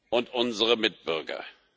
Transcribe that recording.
und unsere Mitbürger.